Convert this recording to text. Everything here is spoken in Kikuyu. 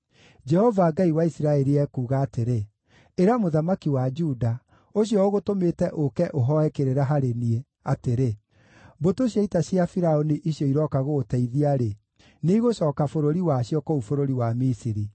“Jehova, Ngai wa Isiraeli, ekuuga atĩrĩ: Ĩra mũthamaki wa Juda, ũcio ũgũtũmĩte ũũke ũhooe kĩrĩra harĩ niĩ, atĩrĩ, ‘Mbũtũ cia ita cia Firaũni icio irooka gũgũteithia-rĩ, nĩigũcooka bũrũri wacio, kũu bũrũri wa Misiri.